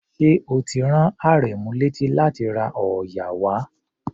Ṣé o ti rán Àrẹ̀mú léti láti ra òòyà wá?